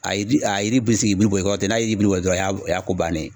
A yi a yiri bɛ sin ki bulu bɔn i kɔrɔ ten, n'a y'i bulu bɔn dɔrɔn o y' a o y'a ko bannen ye.